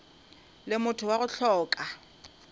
le motho wa go hloka